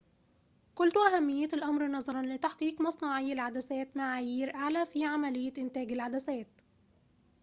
قلت أهمية الأمر نظراً لتحقيق مصنعي العدسات معايير أعلى في عملية إنتاج العدسات